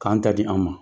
K'an ta di an ma